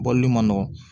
Bɔli ma nɔgɔn